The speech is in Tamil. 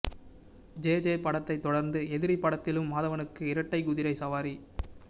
ஜேஜே படத்தைத் தொடர்ந்து எதிரி படத்திலும் மாதவனுக்கு இரட்டைக் குதிரை சவாரி